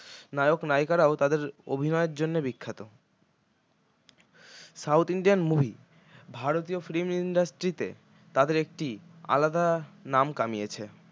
নায়ক নায়িকারাও তাদের অভিনয়ের জন্য বিখ্যাত south indian movie ভারতীয় film industry তে তাঁদের একটি আলাদা নাম কামিয়েছে